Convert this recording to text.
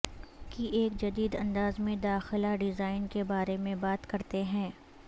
کی ایک جدید انداز میں داخلہ ڈیزائن کے بارے میں بات کرتے ہیں